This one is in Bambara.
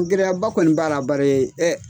Gɛrɛya ba kɔni b'a la bari ɛ.